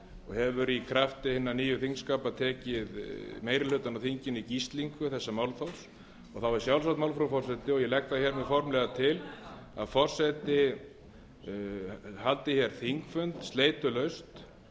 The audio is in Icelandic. hefur í krafti hinna nýju þingskapa tekið meiri hlutann af þinginu í gíslingu þessa málþófs og þá er sjálfsagt mál frú forseti og ég legg það formlega til að forseti haldi þingfund sleitulaust